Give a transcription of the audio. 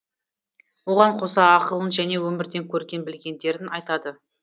оған қоса ақылын және өмірден көрген білгендерін айтады